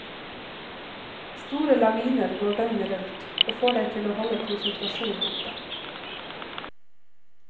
Store laviner går døgnet rundt, og får deg til å holde konsentrasjonen oppe.